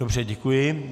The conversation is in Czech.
Dobře, děkuji.